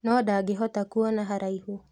No ndangĩhota kuona haraihu